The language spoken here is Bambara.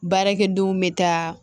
Baarakɛdenw bɛ taa